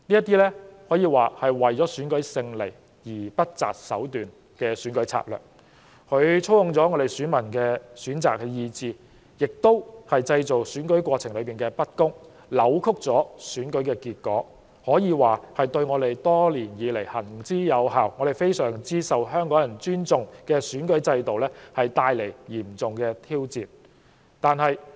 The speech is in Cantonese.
這可謂為了勝利而不擇手段的選舉策略，既操控了選民的意志，亦造成了不公平，扭曲了選舉結果，可說是對我們多年來行之有效及相當受香港人尊重的選舉制度帶來嚴重挑戰。